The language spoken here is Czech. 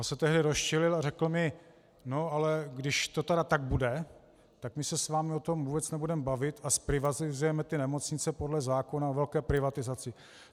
On se tehdy rozčilil a řekl mi: no ale když to tedy tak bude, tak my se s vámi o tom vůbec nebudeme bavit a zprivatizujeme ty nemocnice podle zákona o velké privatizaci.